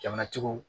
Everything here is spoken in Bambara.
Jamanatigiw